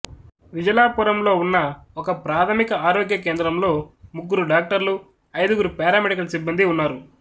విజలాపురంలో ఉన్న ఒకప్రాథమిక ఆరోగ్య కేంద్రంలో ముగ్గురు డాక్టర్లు ఐదుగురు పారామెడికల్ సిబ్బందీ ఉన్నారు